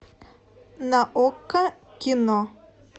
на окко кино